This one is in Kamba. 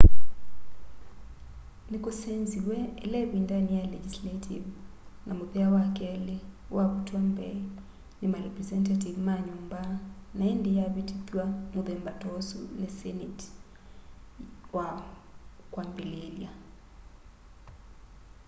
nikusenziw'e ila ivindani ya legisaltive na muthea wa keli wavutwa mbee ni marepresenative ma nyumba na indi yavitithw'a muthemba ta usu ni seneti wa kwambiliilya